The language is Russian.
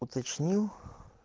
уточнил